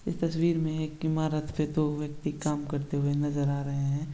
ये तस्वीर में एक ईमारत पे दो व्यक्ति काम करते हुए नजर आ रहे है।